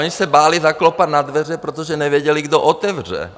Oni se báli zaklepat na dveře, protože nevěděli, kdo otevře.